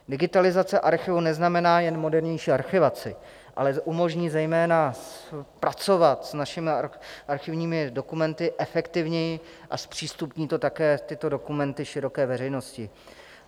Digitalizace archivu neznamená jen moderní archivaci, ale umožní zejména pracovat s našimi archivními dokumenty efektivněji a zpřístupní to také tyto dokumenty široké veřejnosti.